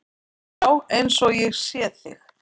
Já, eins og ég sé þig.